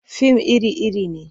Fim iri-iri ne.